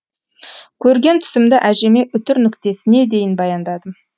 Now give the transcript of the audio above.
көрген түсімді әжеме үтір нүктесіне дейін баяндадым